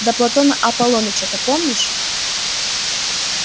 да платона аполлоныча то помнишь